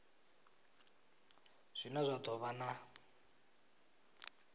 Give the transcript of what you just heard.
zwine zwa do vha na